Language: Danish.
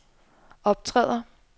optræder